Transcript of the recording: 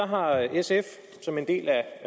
har sf som en del af